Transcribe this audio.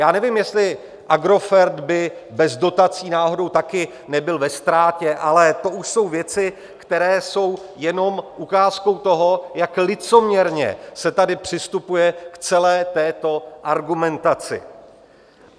Já nevím, jestli Agrofert by bez dotací náhodou taky nebyl ve ztrátě, ale to už jsou věci, které jsou jenom ukázkou toho, jak licoměrně se tady přistupuje k celé této argumentaci.